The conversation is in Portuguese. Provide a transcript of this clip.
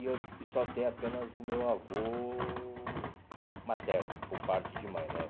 E eu só tem apenas do meu avô materno, por parte de mãe, né?